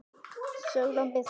Sólon Birkir.